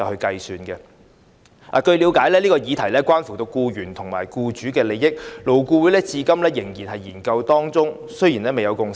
據了解，這項議題關乎僱員和僱主利益，勞工顧問委員會至今仍在研究當中，未有共識。